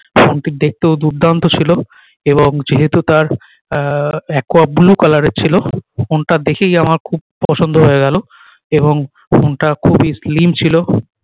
phone টি দেখতেও দুর্দান্ত ছিলো এবং যেহেতু তার আহ aqua blue color এর ছিলো ফোন টা দেখেই আমার খুব পছন্দ হয়ে গেলো এবং ফোন টা খুবই slim ছিলো